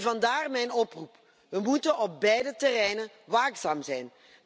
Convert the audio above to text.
Vandaar mijn oproep we moeten op beide terreinen waakzaam zijn.